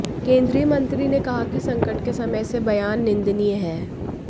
केंद्रीय मंत्री ने कहा कि संकट के समय ऐसे बयान निंदनीय हैं